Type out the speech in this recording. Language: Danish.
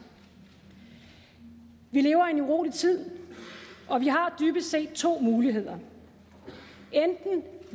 vi lever i en urolig tid og vi har dybest set to muligheder enten